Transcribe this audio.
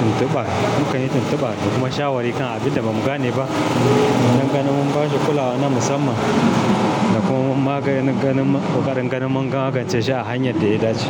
tuntuba, mukan yi tuntuba da kuma shawari kan abin da ba mu gane ba. Nan gani mun ba shi kulawa na musamman, da kuma mun magance koƙarin gani mun magance shi a hanyar da ya dace.